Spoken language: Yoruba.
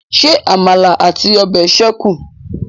Ṣé àmàlà àti ọbẹ̀ ṣékùn?